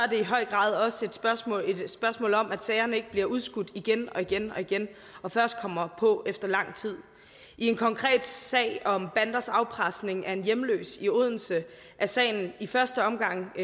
i høj grad også et spørgsmål spørgsmål om at sagerne ikke bliver udskudt igen og igen og igen og først kommer på efter lang tid i en konkret sag om banders afpresning af en hjemløs i odense er sagen i første omgang